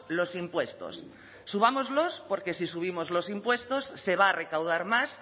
los impuestos subámoslos porque si subimos los impuestos se va a recaudar más